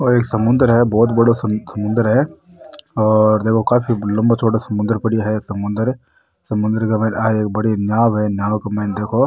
ओ एक समुन्दर है बहुत बड़ो समुन्दर है और देखो काफी लम्बा चौड़ा समुन्दर समुन्दर समुन्दर के मायने आ एक बड़ी नाव है नाव के मायने देखो --